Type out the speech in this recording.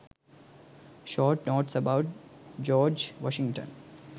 short notes about george washington